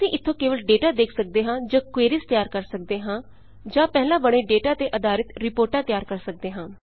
ਅਸੀਂ ਇੱਥੋਂ ਕੇਵਲ ਡੇਟਾ ਦੇਖ ਸੱਕਦੇ ਹਾਂ ਜਾਂ ਕਵੇਰੀਜ਼ ਤਿਆਰ ਕਰ ਸੱਕਦੇ ਹਾਂ ਜਾਂ ਪਹਿਲਾਂ ਬਣੇ ਡੇਟਾ ਤੇ ਆਧਾਰਿਤ ਰਿਪੋਰਟਾਂ ਤਿਆਰ ਕਰ ਸੱਕਦੇ ਹਾਂ